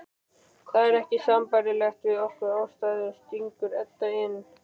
Það er ekki sambærilegt við okkar aðstæður, stingur Edda inn.